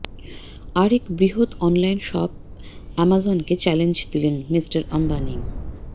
আরেক বৃহৎ online shop অ্যামাজনকে চ্যালেঞ্জ দিলেন মিস্টার আম্বানি